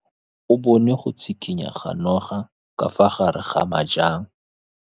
O bone go tshikinya ga noga ka fa gare ga majang.